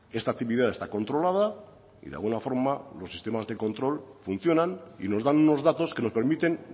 esta actividad está controlada y la buena forma del sistema de control funciona y nos dan unos datos que nos permiten